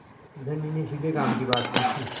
धनी ने सीधे काम की बात पूछी